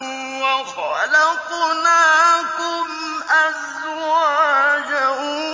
وَخَلَقْنَاكُمْ أَزْوَاجًا